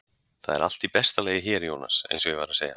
Það er allt í besta lagi hér, Jónas, eins og ég var að segja.